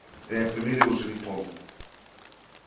я их фамилии уже и не помню